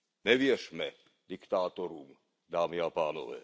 Nevěřme diktátorům, dámy a pánové.